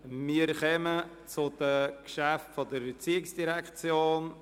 Wir kommen zu den Geschäften der ERZ.